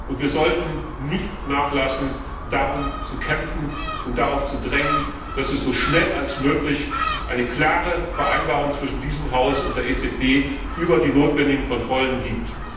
Und wir sollten nicht nachlassen, darum zu kämpfen und darauf zu drängen, dass es so schnell wie möglich eine klare Vereinbarung zwischen diesem Haus und der EZB über die notwendigen Kontrollen gibt.